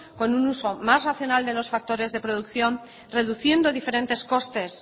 con un uso más racional de los factores de producción reduciendo diferentes costes